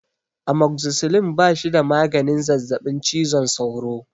Amoxicillin ba shi da maganin zazzabin cizon sauro.